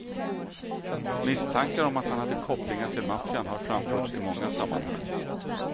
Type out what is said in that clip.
Misstankar om att han hade kopplingar till maffian har framförts i många sammanhang.